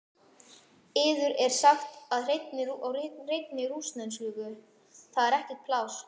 Yður er sagt á hreinni rússnesku: Það er ekkert pláss.